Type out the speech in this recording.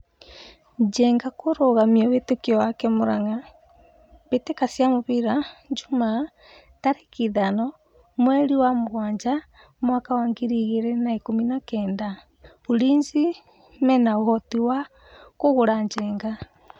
Njenga kũrũgamia wĩtĩkio wake Muranga mbĩtĩka cia mũbira Jumaa 05.07. 2019 Ulinzi mena ũhoti wa kũgũra Njenga?